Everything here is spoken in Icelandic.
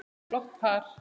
Flott par.